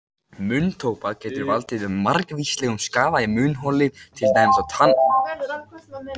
Munntóbak getur valdið margvíslegum skaða í munnholi til dæmis á tannholdi og tönnum.